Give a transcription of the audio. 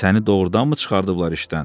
Səni doğurdanmı çıxarıblar işdən?